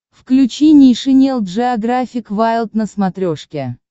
включи нейшенел джеографик вайлд на смотрешке